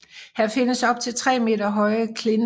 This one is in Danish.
Her findes op til tre meter høje klinter